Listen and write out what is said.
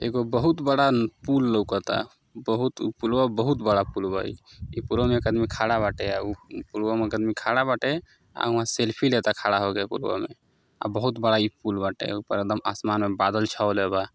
एगो बहुत बड़ा पुल लउकता। उ बहुत उ पुलवा बहुत बड़ा पुलवा इ। ई पुलवा में एक आदमी खड़ा बाटे अ उ पुलवा में एक आदमी खड़ा बाटे आ उहां सेल्फी लेता खड़ा होक पुलवा में। आ बहुत बड़ा ई पुल बाटे ऊपर एकदम आसमान में बादल छाओले बा।